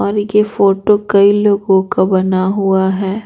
यह फोटो कई लोगों का बना हुआ है।